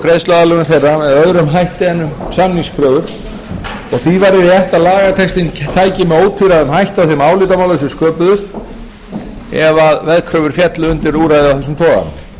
greiðsluaðlögun þeirra með öðrum hætti en um samningskröfur og því verður rétt að lagatextinn tæki með ótvíræðum hætti á þeim álitamálum sem sköpuðust ef veðkröfur féllu undir úrræði af